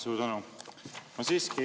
Suur tänu!